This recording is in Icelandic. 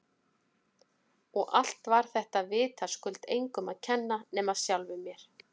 Og allt var þetta vitaskuld engum að kenna nema sjálfum mér!